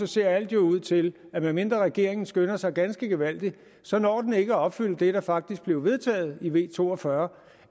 ser alt ud til at medmindre regeringen skynder sig ganske gevaldigt så når den ikke at opfylde det der faktisk blev vedtaget med v to og fyrre